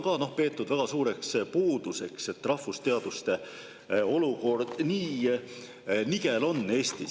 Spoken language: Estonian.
Seda on peetud väga suureks puuduseks, et rahvusteaduste olukord Eestis nii nigel on.